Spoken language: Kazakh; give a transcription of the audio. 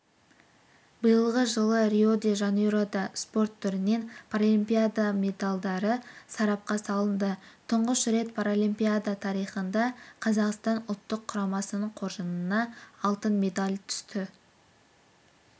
биылғы жылы рио-де-жанейрода спорт түрінен паралимпиада медальдары сарапқа салынды тұңғыш рет паралимпиада тарихында қазақстан ұлттық құрамасының қоржынына алтын медаль түсті